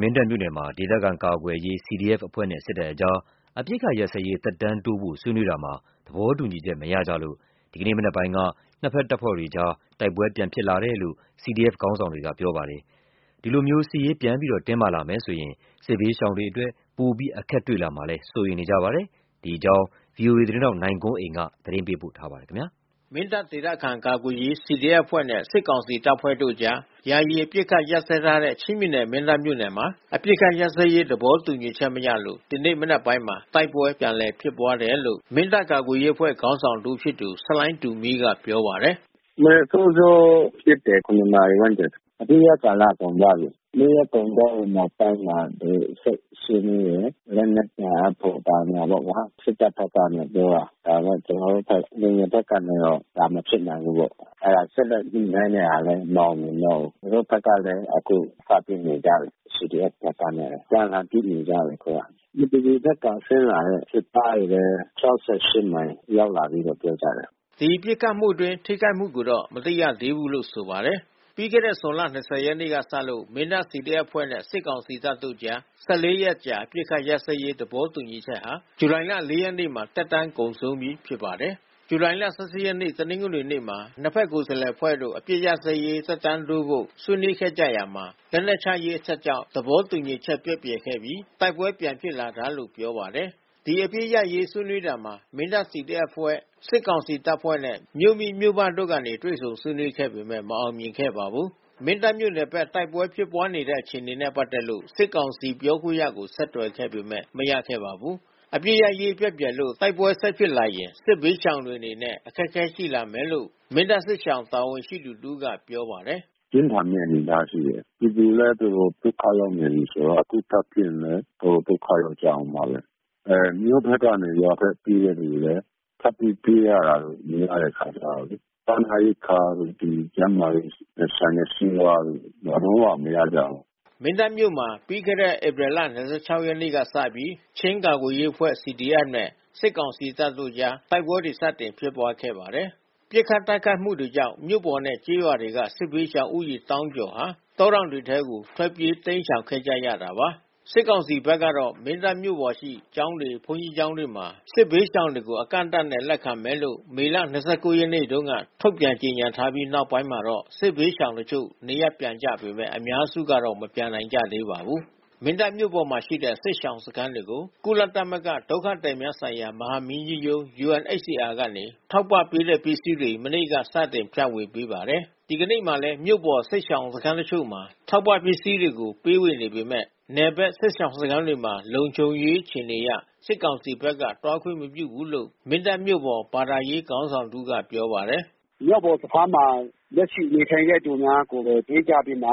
မင်းတပ်မြို့နယ်မှာ ဒေသခံကာကွယ်ရေးCDFအဖွဲ့နဲ့စစ်ကောင်စီတပ်ဖွဲ့တို့အကြား အပစ် ခတ်ရပ်စဲရေးဆွေးနွေးရာမှာ သဘောတူညီချက်မရလို့ ဒီကနေ့မနက်ပိုင်းက နှစ်ဖက်တပ်ဖွဲ့အကြား တိုက်ပွဲတဖန် စတင်ဖြစ်ပွါးလာတယ်လို့ CDFခေါင်းဆောင်တွေက ပြောပါတယ်။ ဒီလိုစစ်ရေးတင်းမာလာမယ်ဆိုရင် စစ်ဘေး ရှောင်တွေအရေး စိုးရိမ်စရာရှိတယ်လို့လဲဆိုပါတယ်။ ဗွီအိုအေသတင်းထောက်နိုင်ကွန်းအိန်ကနေ သတင်း ပေးပို့ထားပါတယ်။ မင်းတပ်ဒေသခံကာကွယ်ရေးCDFအဖွဲ့နဲ့စစ်ကောင်စီတပ်ဖွဲ့တို့အကြား ယာယီအပစ်အခတ်ရပ်စဲထားတဲ့ ချင်းပြည် နယ်မင်းတပ်မြို့နယ်မှာ အပစ်ခတ်ရပ်စဲရေးသဘောတူညီချက်မရလို့ ဒီနေ့မနက်ပိုင်းမှာ တိုက်ပွဲ ပြန်လည်ဖြစ်ပွါးတယ်လို့ မင်းတပ်ကာကွယ်ရေးအဖွဲ့ခေါင်းဆောင်တဦးဖြစ်သူ ဆလိုင်တူမီးကပြောပါတယ်။ "ရွှေအောင်သာဘက်မှာတော့ပြန်ပစ်နေကြပြီ။ မင်းတပ်နယ်အပိုင်ပေါ့။ ဒီမနက်စောစောပစ်တယ်။ နာရီဝန်းကျင်။ အပစ်ရပ်ကာလကုန်သွားပြီး။ နေ့ရက်ကုန်သွားပြီးနောက်ပိုင်းမှာ ကျွန်တော်တို့ဆက်ဆွေးနွေးတယ်။ လက်နက်ပြန် အပ်ဖို့ဘာညာပေါ့ဗျာ။ စစ်တပ်ဘက်ကနေပြောတာ။ ဒါပေမဲ့ ကျွန်တော်တို့ဘက် လူငယ်ဘက်ကနေပြီး ဒါမဖြစ်နိုင် ဘူးပေါ့။ အဲဒါ ဆက်လက်ညှိနှိုင်းတဲ့ဟာလဲ မအောင်မြင်တော့ဘူး။ သူတို့ဘက်ကလဲ အခုစပစ်နေကြပြီး။ CDFဘက် ကနဲ့အပြန်အလှန်ပစ်နေကြပြီ အခုက။ မတူပီဘက်ကဆင်းလာတဲ့စစ်ကားတွေလဲ မိုင်ရောက်လာ ကြပြီးပြော ကြတယ်။" ဒီပစ်ခတ်တိုက်ခိုက်မှုအတွင်းထိခိုက်မှုကိုတော့မသိရသေးဘူးလို့ဆိုပါတယ်။ ပြီးခဲ့တဲ့ ဇွန်လ ၂၀ ရက်နေ့ကစလို့ မင်းတပ် CDF-အဖွဲ့ နဲ့စစ်ကောင်စီတပ်တို့ကြား ရက်အကြာ အပစ်ခတ်ရပ် စဲရေး သဘောတူညီချက်ဟာ ဇူလိုင်လ ရက်နေ့မှာ သက်တမ်းကုန်ဆုံးပြီ ဖြစ်ပါတယ်။ ဇူလိုင် ရက် တနင်္ဂနွေနေ့မှာ နှစ်ဖက်ကိုယ်စားလှယ်အဖွဲ့တို့ အပစ်ခတ်ရပ်စဲရေး သက်တမ်းတိုးဖို့ ဆွေးနွေးခဲ့ ရာမှာ လက်နက်ချရေးအချက်ကြောင့် သဘောတူညီချက် ပျက်ပြယ်ခဲ့ပြီး တိုက်ပွဲပြန်ဖြစ်လာတာလို့ပြောပါတယ်။ ဒီအပစ်ရပ်စဲရေးဆွေးနွေးတာမှာ မင်းတပ် CDF-အဖွဲ့ စစ်ကောင်စီတပ်ဖွဲ့နဲ့ မြို့မိမြို့ဖတို့ကနေ တွေ့ဆုံဆွေးနွေးခဲ့ပေမဲ့ မအောင်မြင်ခဲ့ပါဘူး။ မင်းတပ်မြို့နယ်ဘက်တိုက်ပွဲဖြစ်ပွါးနေတဲ့အခြေအနေနဲ့ပက်သက်လို့ စစ်ကောင်စီပြောခွင့်ရကို ဆက်သွယ်ခဲ့ပေမဲ့ မရခဲ့ပါဘူး။ အပစ်ရပ်စဲရေးပျက်ပြယ်လို့တိုက်ပွဲဆက်ဖြစ်လာရင်စစ်ဘေးရှောင်တွေအနေနဲ့ အခက်ခဲရှိလာမယ်လို့ မင်းတပ် စစ်ရှောင်စခန်းတာဝန်ရှိသူတဦးကပြောပါတယ်။ "ပြင်းထန်မဲ့အနေအထားရှိတယ်။ ပြည်သူလဲတော်တော်ဒုက္ခရောက်နေပြီးဆိုတော့ အခုထပ်ဖြစ်ရင် တော်တော်ဒုက္ခ ရောက်ကြမယ်။ မြို့ဘက်ကနေ ရွာဘက်ပြေးတဲ့သူတွေလဲ ထပ်ပြီးတိုးလာတာ များတဲ့အခါကျတော့လေ စားနပ်ရိက္ခာ တို့ ဒီကျန်းမာရေးနဲ့ဆိုင်တဲ့ဆေးဝါးတို့ လုံးဝမရကြဘူး။" မင်းတပ်မြို့မှာ ပြီးခဲ့တဲ့ဧပြီလ ၂၆ ရက်နေ့လောက်ကစပြီး ချင်းကာကွယ်ရေးအဖွဲ့ နဲ့ စစ်ကောင်စီတပ်တို့ အကြား တိုက်ပွဲတွေစတင်ဖြစ်ပွားခဲ့ပါတယ်။ ပစ်ခတ်တိုက်ခိုက်မှုတွေကြောင့် မြို့ပေါ်နဲ့ကျေးရွာတွေက စစ်ဘေးရှောင်ဦးရေသောင်းကျော်ဟာ တောတောင် တွေထဲကို ထွက်ပြေးတိမ်းရှောင်ခဲ့ကြရတာပါ။ စစ်ကောင်စီဘက်ကတော့ မင်းတပ်မြို့ပေါ်ရှိ ကျောင်းတွေ၊ဘုန်းကြီးကျောင်းတွေမှာ စစ်ဘေးရှောင်တွေကို အကန့် အသတ်နဲ့ လက်ခံမယ်လို့မေလ ရက်နေ့က ထုတ်ပြန်ကြေညာထားပြီး နောက်ပိုင်းမှာတော့ စစ်ဘေးရှောင် တချို့ နေရပ်ပြန်ကြပေမဲ့ အများစုကတော့ မပြန်နိုင် ကြသေးပါဘူး။ မင်းတပ်မြို့ပေါ်မှာရှိတဲ့ စစ်ရှောင်စခန်းတွေကို ကုလသမဂ္ဂ ဒုက္ခသည်များဆိုင်ရာ မဟာမင်းကြီးရုံး UNHCR က ထောက်ပံ့ပေးတဲ့ ပစ္စည်းတွေ မနေ့ကစတင်ဖြန့်ဝေပေးပါတယ်။ ဒီကနေ့မှာလဲ မြို့ပေါ်ကစစ်ရှောင်စခန်းတချို့မှာ ထောက်ပံ့ပစ္စည်းတွေ ပေးဝေနေပေမဲ့ နယ်ဘက်စစ်ရှောင်စခန်းတွေမှာ လုံခြုံရေးအခြေအနေအရ စစ်ကောင်စီဘက်ကသွားခွင့်မပြုဘူးလို့ မင်းတပ်မြို့ပေါ်ဘာသာရေး ခေါင်း ဆောင်တဦးကပြောပါတယ်။ " မြို့ပေါ်စခန်းမှာ လက်ရှိနေထိုင်တဲ့သူများကိုဘဲ ပေးကြပြီးမှ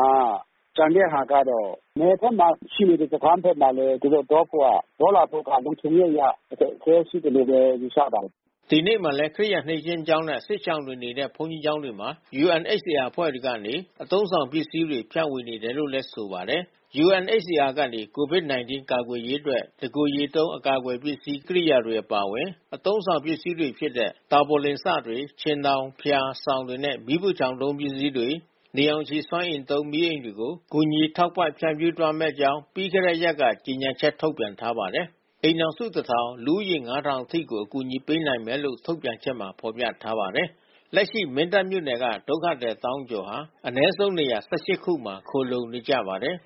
ကျန်တဲ့ဟာကျတော့ နယ်ဘက်မှာရှိနေတဲ့စခန်း ဘက်မှာလဲ သူတို့သွားဖို့က သွားလာဖို့ကလုံခြုံရေးအရ အခက်ခဲရှိတယ်လို့ဘဲ ယူဆပါတယ်။" ဒီနေ့မှာလဲ ခရစ်ယာန်နှစ်ခြင်းကျောင်းနဲ့ စစ်ရှောင်တွေနေတဲ့ဘုန်းကြီးကျောင်းတွေမှာ UNHCR အဖွဲ့ကနေ အသုံးဆောင်ပစ္စည်းတွေ ဖြန့်ဝေနေတယ်လို့ဆိုပါတယ်။ UNHCR ကနေ COVID-19 ကာကွယ်ရေးအတွက် တကိုယ်ရေသုံး အကာအကွယ်ပစ္စည်းကိရိယာတွေ အပါအဝင်၊ အသုံးဆောင်ပစ္စည်းတွေဖြစ်တဲ့ တာပေါ်လင်စတွေ၊ ခြင်ထောင်၊ ဖျာ၊ စောင်တွေနဲ့၊ မီးဖိုချောင်သုံးပစ္စည်းတွေ၊ နေရောင်ခြည်စွမ်းအင်သုံး မီးအိမ်တွေကို ကူညီ ထောက်ပံ့ဖြန့်ဖြူးသွားမယ့်အကြောင်း ပြီးခဲ့တဲံရက်က ကြေညာချက် ထုတ်ပြန်ထားပါတယ်။ အိမ်ထောင်စု ၁,၀၀၀၊ လူဦးရေ ၅,၀၀၀ အထိကို အကူအညီပေးနိုင်မယ်လို့ ထုတ်ပြန်ချက်မှာ ဖော်ပြထားပါတယ်။ လက်ရှိ မင်းတပ်မြို့နယ်က ဒုက္ခသည် သောင်းကျော်ဟာ အနည်းဆုံးနေရာ ၁၈ ခုမှာ ခိုလှုံနေကြပါတယ်